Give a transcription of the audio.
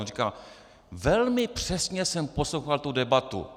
On říkal: velmi přesně jsem poslouchal tu debatu.